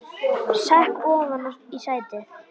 Sekk ofan í sætið.